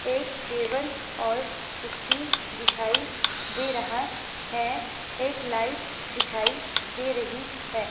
एक टेबल और कुर्सी दिखाई दे रहा है एक लाइट दिखाई दे रही है।